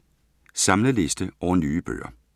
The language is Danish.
Samlet liste over nye bøger